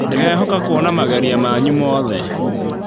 Ndĩrehoka kuona mageria manyu mothe.